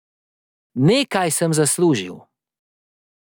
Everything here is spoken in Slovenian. Nekaj sem zaslužil.